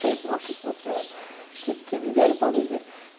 Falei, nossa senhora, o que é que me deram para beber?